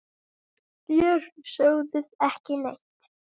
Þér sögðuð ekki neitt!